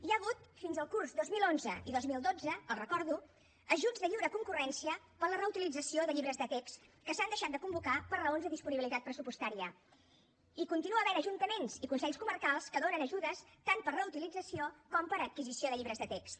hi ha hagut fins al curs dos mil onze dos mil dotze els ho recordo ajuts de lliure concurrència per a la reutilització de llibres de text que s’han deixat de convocar per raons de disponibilitat pressupostària i hi continua havent ajuntaments i consells comarcals que donen ajudes tant per a reutilització com per a adquisició de llibres de text